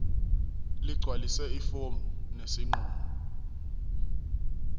ligcwalise ifomu lesinqumo